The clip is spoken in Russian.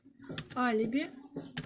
алиби